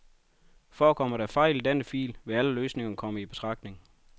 Forekommer der fejl i denne fil, vil alle løsninger komme i betragtning.